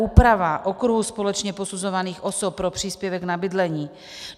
Úprava okruhu společně posuzovaných osob pro příspěvek na bydlení.